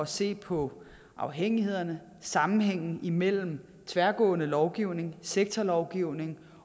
se på afhængighederne og sammenhængen imellem tværgående lovgivning sektorlovgivning